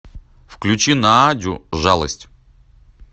включи наадю жалость